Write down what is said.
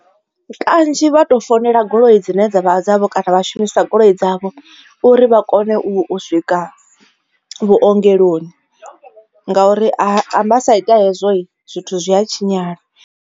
Kanzhi vha tou founela goloi dzine dzavha dzavho kana vha shumisa goloi dzavho uri vha kone u swika vhuongeloni ngauri arali vhasa ite hezwo zwithu zwi a tshinyala.